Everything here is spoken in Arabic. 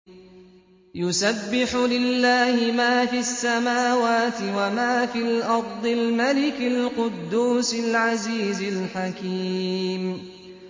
يُسَبِّحُ لِلَّهِ مَا فِي السَّمَاوَاتِ وَمَا فِي الْأَرْضِ الْمَلِكِ الْقُدُّوسِ الْعَزِيزِ الْحَكِيمِ